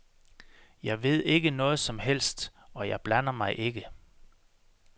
Jeg ved ikke noget som helst, og jeg blander mig ikke.